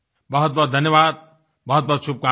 बहुतबहुत धन्यवाद बहुतबहुत शुभकामनाएं